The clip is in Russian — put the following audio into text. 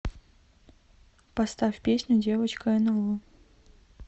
поставь песню девочка нло